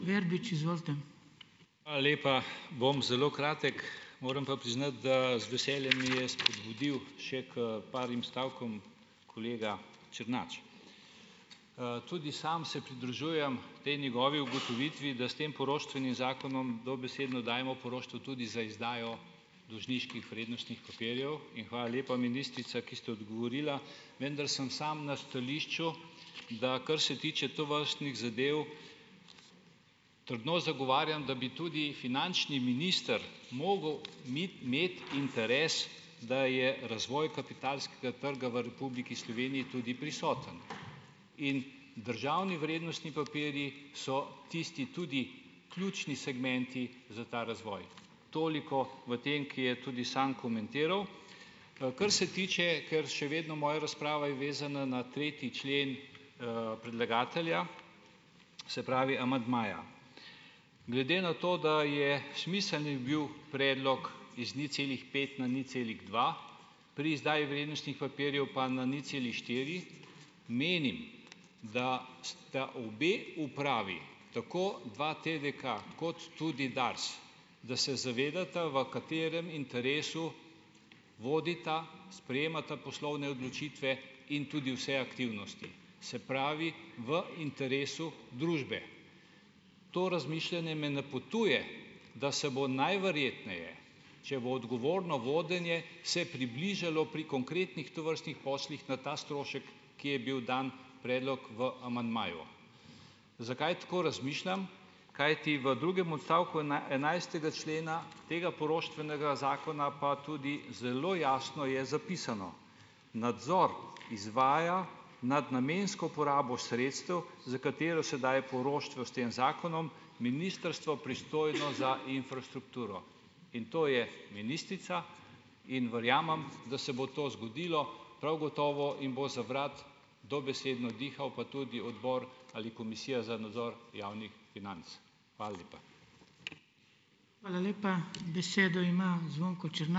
Hvala lepa. Bom zelo kratek. Moram pa priznati, da z veseljem me je spodbudil še k parim stavkom kolega Černač. tudi sam se pridružujem k tej njegovi ugotovitvi , da s tem poroštvenim zakonom dobesedno dajemo poroštvo tudi za izdajo dolžniških vrednostnih papirjev in hvala lepa ministrica, ki ste odgovorila, vendar sem sam na stališču, da kar se tiče tovrstnih zadev trdno zagovarjam, da bi tudi finančni minister mogel imeti interes , da je razvoj kapitalskega trga v Republiki Sloveniji tudi prisoten. In državni vrednostni papirji so tisti in tudi ključni segmenti za ta razvoj. Toliko v tem, ki je tudi sam komentiral. kar se tiče, ker še vedno moja razprava je vezana na tretji člen, predlagatelja, se pravi amandmaja. Glede na to, da je smiselni bil predlog iz nič celih pet na nič celih dva, pri izdaji vrednostnih papirjev pa na nič celih štiri, menim, da sta obe upravi, tako dva TDK kot tudi Dars, da se zavedata, v katerem interesu vodita, sprejemata poslovne odločitve in tudi vse aktivnosti. Se pravi, v interesu družbe. To razmišljanje me napotuje, da se bo najverjetneje, če bo odgovorno vodenje se približalo pri konkretnih tovrstnih poslih na ta strošek, ki je bil dan predlog v amandmaju. Zakaj tako razmišljam? Kajti v drugem odstavku enajstega člena tega poroštvenega zakona pa tudi zelo jasno je zapisano. Nadzor izvaja nad namensko porabo sredstev, s katero se daje poroštvo s tem zakonom Ministrstvo pristojno za infrastrukturo. In to je ministrica in verjamem, da se bo to zgodilo prav gotovo in bo za vrat dobesedno dihal pa tudi Odbor ali Komisija za nadzor javnih financ. Hvala lepa.